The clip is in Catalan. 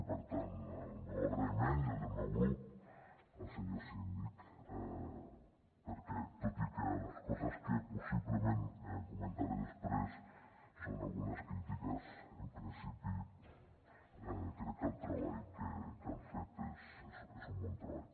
i per tant el meu agraïment i el del meu grup al senyor síndic perquè tot i que les coses que possiblement comentaré després són algunes crítiques en principi crec que el treball que han fet és un bon treball